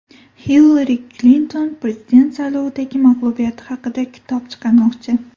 Hillari Klinton prezident saylovidagi mag‘lubiyati haqida kitob chiqarmoqchi.